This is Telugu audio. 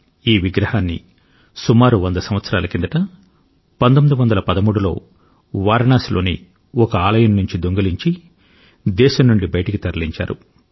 ఈ విగ్రహాన్ని సుమారు వంద సంవత్సరాల కిందట 1913లో వారణాసిలోని ఒక ఆలయం నుండి దొంగిలించి దేశం నుండి బయటికి తరలించారు